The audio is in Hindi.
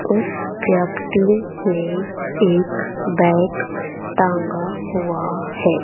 उस व्यक्ती ने एक बैग टांगा हुआ है।